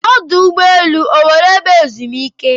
Ọdụ ụgbọ elu ọ nweere ebe ezumike?